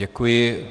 Děkuji.